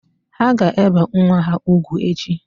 Ha ga-ebe nwa ha ugwu echi